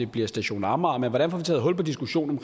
bliver station amager men hvordan får vi taget hul på diskussionen